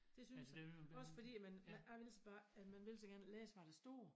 Det synes jeg også fordi at man jeg ville så bare man ville så gerne læse havd der stod